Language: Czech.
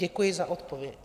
Děkuji za odpověď.